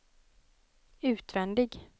utvändig